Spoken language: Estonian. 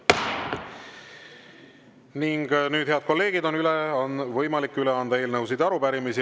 Ning nüüd, head kolleegid, on võimalik üle anda eelnõusid ja arupärimisi.